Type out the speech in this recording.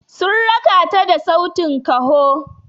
Sun raka ta da sautin kaho.